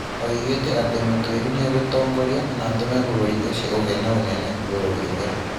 Oigĩte atĩ Mũtwiri nĩ egũtongoria "na atũme vũrũrĩ ucio ũgĩe na ũnene" vũrũrĩ ũria